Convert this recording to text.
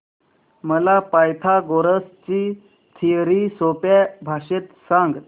मला पायथागोरस ची थिअरी सोप्या भाषेत सांग